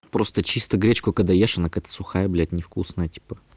просто чисто гречку когда ешь она какая-то сухая блядь невкусная типа